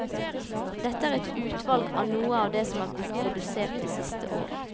Dette er et uvalg av noe av det som er produsert de siste åra.